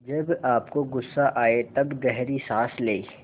जब आपको गुस्सा आए तब गहरी सांस लें